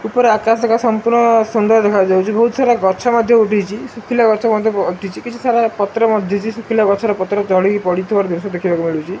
ଉପର ଆକାଶଟା ସମ୍ପୂର୍ଣ୍ଣ ସୁନ୍ଦର ଦେଖାଯାଉଚି ବହୁତ ସାରା ଗଛ ମଧ୍ଯ ଉଠିଚି ଶୁଖିଲା ଗଛ ମଧ୍ଯ ପ ଉଠିଚି କିଛି ସାରା ପତ୍ର ମଧ୍ଯ ଶୁଖିଲା ଗଛର ପତ୍ର ତଳେ ବି ପଡି ଥିବାର ଦୃଶ୍ଯ ଦେଖିବାକୁ ମିଳୁଚି।